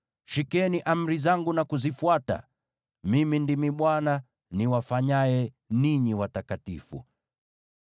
Shikeni amri zangu na kuzifuata. Mimi ndimi Bwana , niwafanyaye ninyi watakatifu.